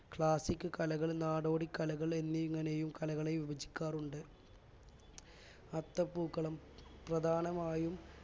classic കലകൾ നാടോടിക്കലകൾ എന്നിങ്ങനെയും കലകളെ വിഭജിക്കാറുണ്ട് അത്തപ്പൂക്കളം പ്രധാനമായും